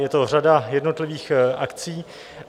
Je to řada jednotlivých akcí.